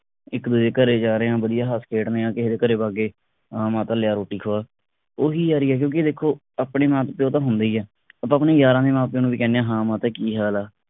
ਇਕ ਦੂਜੇ ਦੇ ਘਰੇ ਜਾ ਰਹੇ ਆ ਵਧੀਆ ਹੱਸ ਖੇਡ ਰਹੇ ਆ ਕਿਹੇ ਦੇ ਘਰੇ ਵਗ ਗਏ ਹਾਂ ਮਾਤਾ ਲਿਆ ਰੋਟੀ ਖਵਾ ਉਹੀ ਯਾਰੀ ਆ ਕਿਉਂਕਿ ਦੇਖੋ ਆਪਣੇ ਮਾਪ ਪਿਉ ਤਾਂ ਹੁੰਦੇ ਈ ਆ ਆਪਾ ਆਪਣੇ ਯਾਰਾਂ ਦੇ ਮਾਂ ਪਿਓ ਨੂੰ ਵੀ ਕਹਿੰਦੇ ਆ ਹਾਂ ਮਾਤਾ ਕੀ ਹਾਲ ਆ